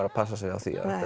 að passa sig á því að